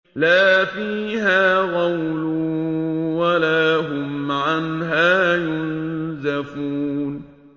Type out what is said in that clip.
لَا فِيهَا غَوْلٌ وَلَا هُمْ عَنْهَا يُنزَفُونَ